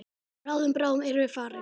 Bráðum, bráðum erum við farin.